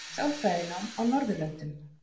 Sálfræðinám á Norðurlöndum.